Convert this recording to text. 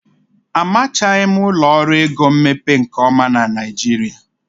Amachaghị ụlọ ọrụ ego mmepe nke ọma na Naịjirịa.